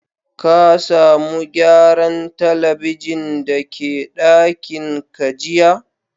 Ka samu gyaran telibijin da ke dakin ka jiya?